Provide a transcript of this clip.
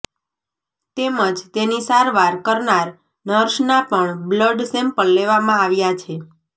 તેમજ તેની સારવાર કરનાર નર્સના પણ બ્લડ સેમ્પલ લેવામાં આવ્યા છે